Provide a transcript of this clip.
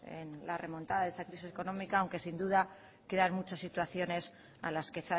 en la remontada de esa crisis económica aunque sin duda quedan muchas situaciones a las que